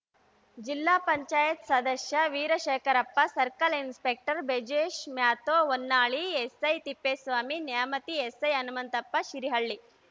ಜಿಲ್ಲಾ ಪಂಚಾಯತ್ ಸದಸ್ಯ Veerashekharappa circle inspector Brijesh Mathew Honnali SI Thippeswamy Nyamathi SI Hanumanthappa Shirihalli